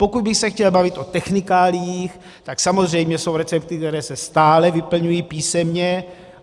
Pokud bych se chtěl bavit o technikáliích, tak samozřejmě jsou recepty, které se stále vyplňují písemně.